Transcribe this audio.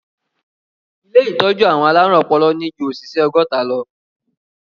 Ilé ìtọ́jú àwọn alárùn ọpọlọ ní ju òṣìṣẹ́ ọgọ́ta lọ.